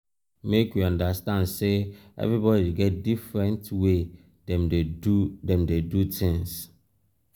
make we understand sey everybodi get different way dem dey do dem dey do tins.